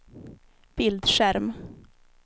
bildskärm